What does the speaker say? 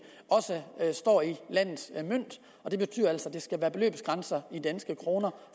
også står i landets mønt og det betyder altså at det skal være beløbsgrænser i danske kroner